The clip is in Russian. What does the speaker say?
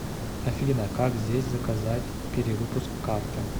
афина как здесь заказать перевыпуск карты